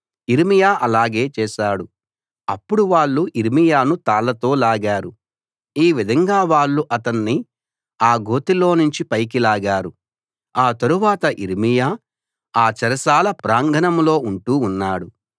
యిర్మీయా అలాగే చేశాడు అప్పుడు వాళ్ళు యిర్మీయాను తాళ్ళతో లాగారు ఈ విధంగా వాళ్ళు అతన్ని ఆ గోతిలోనుంచి పైకి లాగారు ఆ తరువాత యిర్మీయా ఆ చెరసాల ప్రాంగణంలో ఉంటూ ఉన్నాడు